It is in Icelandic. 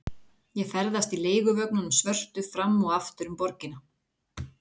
Ég ferðast í leiguvögnunum svörtu fram og aftur um borgina.